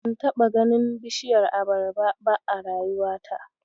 Ban taɓa ganin bishiyar abarba ba a rayuwata.